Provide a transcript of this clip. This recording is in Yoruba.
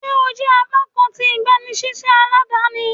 Ṣe o jẹ apakan ti igbanisiṣẹ aladani?